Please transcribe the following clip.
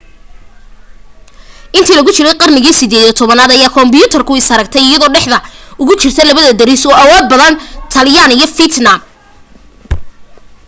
intii lagu jiray qarnigii 18aad ayay kamboodiya is aragtay iyadoo dhexda ugu jirta laba deris oo awood badan taylaan iyo fiitnaam